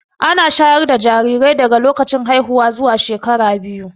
Ana shayar da jarirai daga lokacin haihuwa zuwa shekara biyu